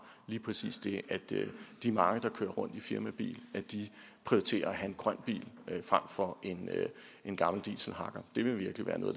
lige præcis det at de de mange der kører rundt i firmabil prioriterer at have en grøn bil frem for en gammel dieselhakker det vil virkelig være noget